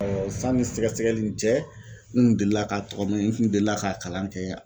sanni sɛgɛsɛgɛli ni cɛ, n kun delila ka n kun delila k'a kalan kɛ .